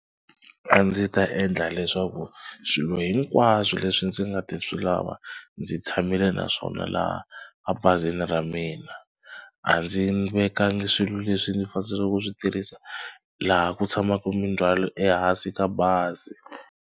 A ndzi ta endla leswaku swilo hinkwaswo leswi ndzi nga ta swi lava ndzi tshamile naswona laha ebazini ra mina. A ndzi vekanga swilo leswi ndzi ku swi tirhisa laha ku tshamaka mindzhwalo ehansi ka bazi.